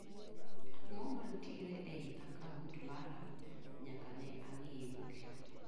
Ang'o ma nitiere ei akaunt mara nyaka ne ang'iye mogik.